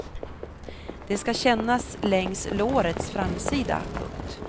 Det skall kännas längs lårets framsida. punkt